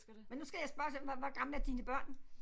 Men nu skal jeg spørge til hvor hvor gamle er dine børn